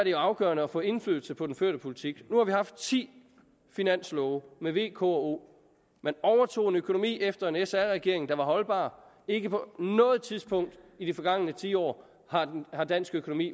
jo afgørende at få indflydelse på den førte politik nu har vi haft ti finanslove med v k og o man overtog en økonomi efter en sr regering der var holdbar ikke på noget tidspunkt i de forgangne ti år har dansk økonomi